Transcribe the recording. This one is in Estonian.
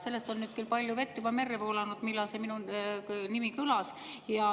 Sellest on nüüd küll juba palju vett merre voolanud, kui minu nimi kõlas.